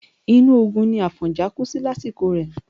Inú ogun ni Àfọ̀njá kú sí lásìkò rẹ̀.